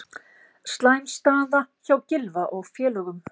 Slæm staða hjá Gylfa og félögum